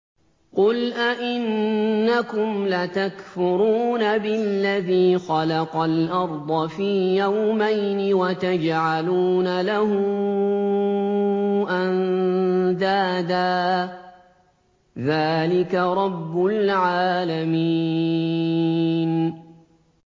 ۞ قُلْ أَئِنَّكُمْ لَتَكْفُرُونَ بِالَّذِي خَلَقَ الْأَرْضَ فِي يَوْمَيْنِ وَتَجْعَلُونَ لَهُ أَندَادًا ۚ ذَٰلِكَ رَبُّ الْعَالَمِينَ